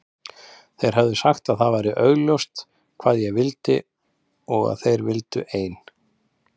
Þeir höfðu sagt að það væri augljóst hvað ég vildi og að þeir vildu ein